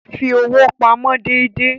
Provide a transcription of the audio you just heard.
Fi owó pamọ́ déédéé.